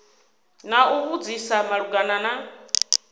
na u vhudzisa malugana na